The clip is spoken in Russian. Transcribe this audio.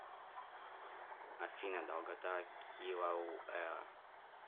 афина долгота килауэа